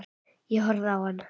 Ég horfði á hann.